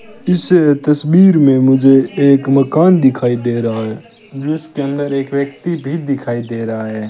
इस तस्वीर में मुझे एक मकान दिखाई दे रहा है जिसके अंदर एक व्यक्ति भी दिखाई दे रहा है।